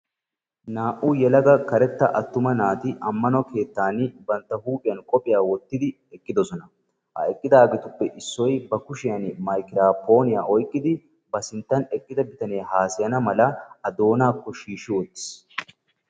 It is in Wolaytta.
Naa"u yelaga karetta attuma naati ammano keettaan bantta huuphiyan qophiya wottidi eqqidosona. Ha eqqidaageetuppe issoy ba kushiyan magiraapooniya oyqqidi ba sinttan eqqida bitanee haasayana mala A doonaakko shiishshi wottiis.